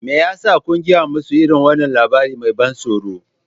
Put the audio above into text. Me ya sa za ku gaya musu irin wannan labari mai ban tsoro?